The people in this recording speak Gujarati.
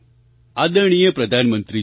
આદરણીય પ્રધાનમંત્રીજી